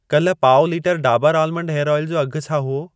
कल पाउ लीटरु डाबर आलमंड हेयर ऑइल जो अघि छा हुओ?